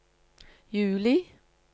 juli